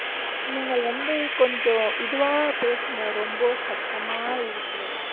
நீங்கள் வந்து கொஞ்சம் இதுவா பேசுங்க ரொம்ப சத்தமா இருக்கிறது